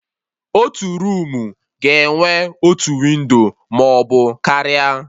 Otu roomu ga-enwe otu windo maọbụ karịa